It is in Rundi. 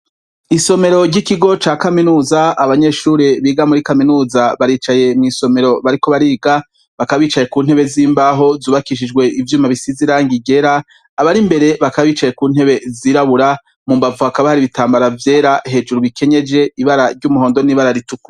Isomero ry'ikigo ca kaminuza, abanyeshure biga muri kaminuza baricaye mw'isomero bariko bariga, bakaba bicaye ku ntebe z'imbaho zubakishijwe ivyuma bisisize irangi. Abari imberi bakaba bicaye ku ntebe zirabura, mu mbavu hakaba hari ibitambara vyera hejuru bikenyeje ibara ry'umuhondo n'ibara ritukura.